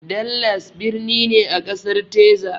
Dallas birni ne a Ƙasar Tezas